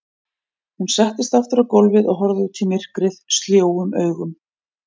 Hún settist aftur á gólfið og horfði út í myrkrið sljóum augum.